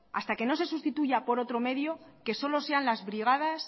hasta que no se sustituya por otros medios que solo sean las brigadas